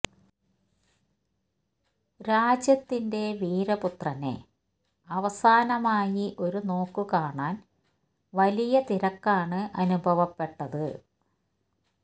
രാജ്യത്തിന്റെ വീര പുത്രനെ അവസാനമായി ഒരു നോക്ക് കാണാൻ വലിയ തിരക്കാണ് അനുഭവപ്പെട്ടത്